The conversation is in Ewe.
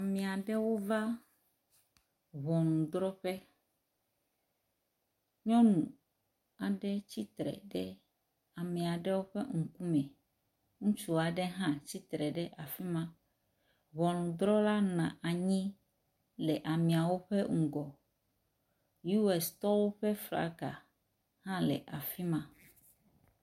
Ame aɖewo va ŋɔnudrɔƒe. Nyɔnu aɖe tsitre ɖe ame aɖewo ƒe ŋkume. Ŋutsu aɖe hã tsitre ɖe afi ma. Ŋɔnudrɔla nɔ anyi le ameawo ƒe ŋgɔ. UStɔwo ƒe flaga hã nɔ afi ma.